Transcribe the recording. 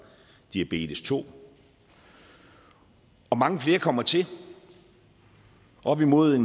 diabetes to og mange flere kommer til op imod